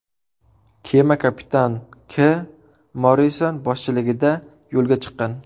Kema Kapitan K. Morrison boshchiligida yo‘lga chiqqan.